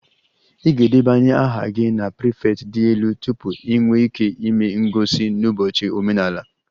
Ị ga-edebanye aha gị na prefect dị elu tupu ị nwee ike ịme ngosi n'ụbọchị omenala